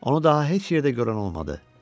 Onu daha heç yerdə görən olmadı.